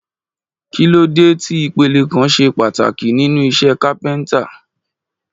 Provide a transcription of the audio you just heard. Kí ló dé tí ìpele kan ṣe pàtàkì nínú iṣẹ́ kápẹ́ntà?